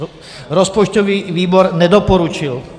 Rozpočtový výbor nedoporučil.